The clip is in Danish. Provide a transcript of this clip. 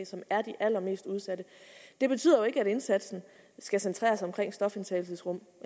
som er de allermest udsatte det betyder ikke at indsatsen skal centreres omkring stofindtagelsesrummet